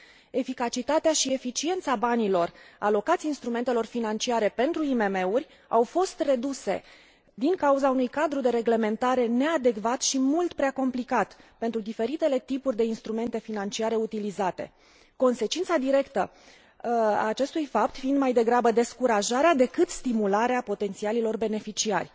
Eficacitatea și eficiența banilor alocați instrumentelor financiare pentru IMM uri au fost reduse din cauza unui cadru de reglementare neadecvat și mult prea complicat pentru diferitele tipuri de instrumente financiare utilizate, consecința directă a acestui fapt fiind mai degrabă descurajarea decât stimularea potențialilor beneficiari.